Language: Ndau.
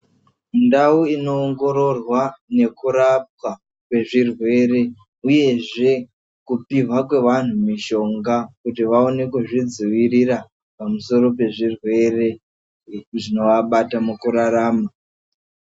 Ndau inoongororwa nekurapwa kwezvirwere uyezve kupihwa kwevanhu mishonga kuti vaone kuzvidzivirira pamusoro pezvirwere eku zvinoabata mukurarama.